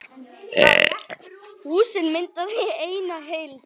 Húsin mynda því eina heild.